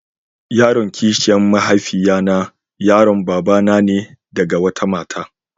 Yaron kishiya mahaifiya na yaron babana ne da ga wata mata.